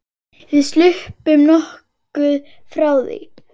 Við sluppum nokkuð frá því.